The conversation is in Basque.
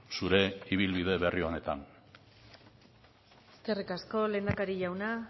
zure ibilbide berri honetan eskerrik asko lehendakari jauna